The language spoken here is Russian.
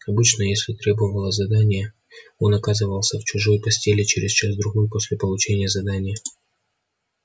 обычно если требовало задание он оказывался в чужой постели через час-другой после получения задания